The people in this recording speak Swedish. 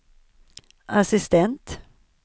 assistent